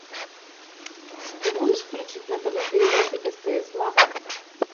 ты можешь включить на тв передачу стс лав